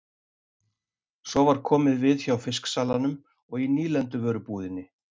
Svo var komið við hjá fisksalanum og í nýlenduvörubúðinni.